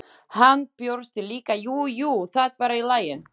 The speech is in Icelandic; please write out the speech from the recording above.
Hann brosti líka, jú, jú, það var í lagi.